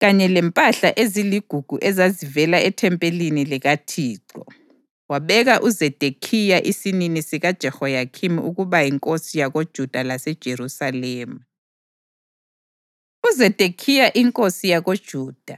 kanye lempahla eziligugu ezazivela ethempelini likaThixo, wabeka uZedekhiya isinini sikaJehoyakhini ukuba yinkosi yakoJuda laseJerusalema. UZedekhiya Inkosi YakoJuda